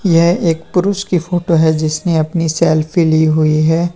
यह एक पुरुष की फोटो है जिसने अपनी सेल्फी ली हुई है।